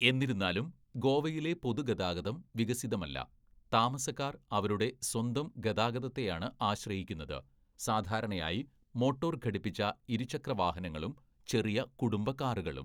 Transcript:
എന്നിരുന്നാലും, ഗോവയിലെ പൊതുഗതാഗതം വികസിതമല്ല, താമസക്കാർ അവരുടെ സ്വന്തം ഗതാഗതത്തെയാണ് ആശ്രയിക്കുന്നത്, സാധാരണയായി മോട്ടോർ ഘടിപ്പിച്ച ഇരുചക്രവാഹനങ്ങളും ചെറിയ കുടുംബ കാറുകളും.